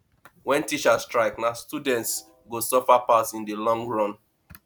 wen teachers strike na students go suffer pass in di long run